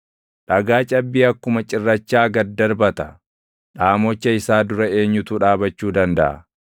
Dhagaa cabbii akkuma cirrachaa gad darbata. Dhaamocha isaa dura eenyutu dhaabachuu dandaʼa?